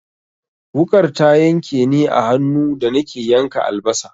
Wuƙar ta yanke ni a hannu da nake yanka albasa.